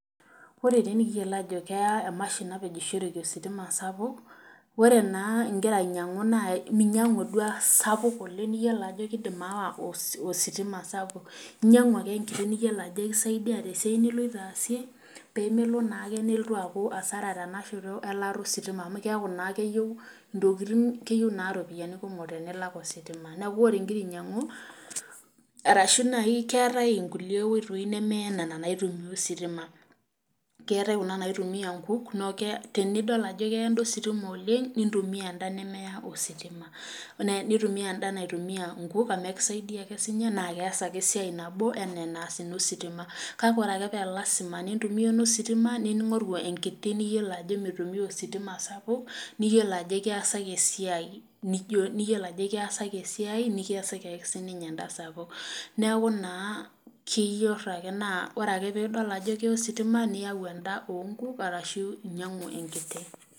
Ore taa naa ekiyiolo ajo keya emashini napejishoreki ositima sapuk, ore naa ingiro ainyangu naa ninyangu duo esapuk oleng niyiolo ajo keidim aawa ositima sapuk ,inyangu ake enkiti niyiolo ajo ekisaidia tesiai niloito asie ,pee melo naake nelotu aaku asara tenashoto elaata ositima amu keeku naa keyieu ropiyiani kumok tenilak ositima ,neeku ore ingira ainyangu ,orashu keetae naaji nkulie oitoi neme nena naitumiyai ositima keetae Kuna naitumiyai nkukk neeku tenidol ajo keitumiyai enda ositima oleng ,nintumiya enda nemaya ositima .nintumiya enda naitumiae nkutuk naas ekisaidia ake siininye kees ake esiai nana enaa entaas ina ositima .kake ore ake paa lasima pee intumiya eno sitima ningoru enkiti niyiolo ajo meitumiya ositima sapuk niyiolo ajo ekiasaki esiai nikiasaki ake siininye enda sapuk. neeku naa ore ake pee idol ajo keya ositima sapuk ninyangu enda oonkuk orashu inyangu enda kiti.